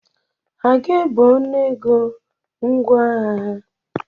Ha ga-ebe ọnụego ngwaahịa ha?